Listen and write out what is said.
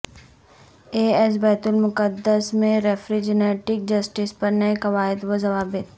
اے ایس بیت المقدس میں ریفریجنگنگ جسٹس پر نئے قواعد و ضوابط